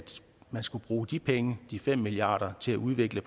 man skulle bruge de penge de fem milliarder til at udvikle